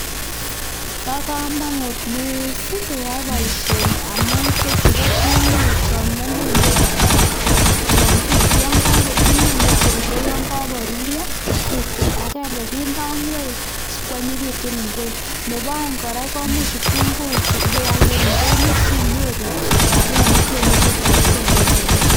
Paaakamanut Keai poishoni amun imuchi ipialde kitunguiik chuu Eng ndonyo sinyoru rapisheek chenipaisheee